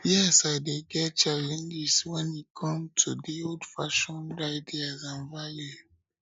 yes i dey get challenges especially when e come to di oldfashioned ideas and values